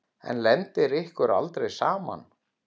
En lendir ykkur aldrei saman?